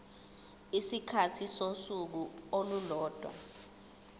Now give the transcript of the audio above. isikhathi sosuku olulodwa